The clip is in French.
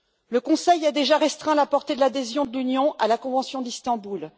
Le Conseil a déjà restreint la portée de l'adhésion de l'Union à la convention d'Istanbul.